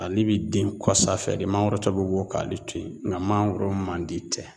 Ale bi den kɔsa fɛ de mangoro tɔ be wo k'ale to yen nka mangoro man di tɛ